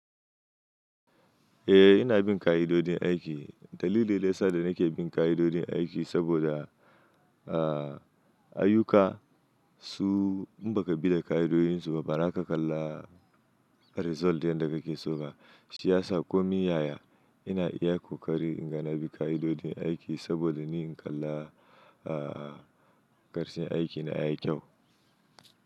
Eh ina bin ka'idojin aiki. Dalili daya sada nake bin ka'idojin aiki saboda, ah ayuka su in baka bi da ka'idojin su ba, baza ka kalla result din da kake soka. Shiyasa, komi yaya ina iya kokari inga na bi ka'idojin aiki saboda ni in kalla ah karshen aiki na ya yi kyau.